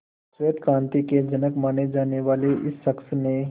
श्वेत क्रांति के जनक माने जाने वाले इस शख्स ने